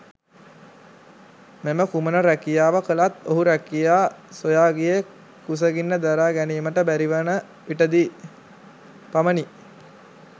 මෙම කුමන රැකියාව කළත් ඔහු රැකියා සොයා ගියේ කුසගින්න දරා ගැනීමට බැරිවන විටදී පමණි.